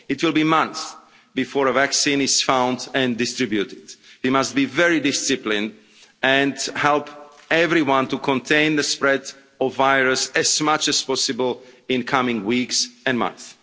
It will be months before a vaccine is found and distributed. We must be very disciplined and help everyone to contain the spread of the virus as much as possible in the coming weeks and months.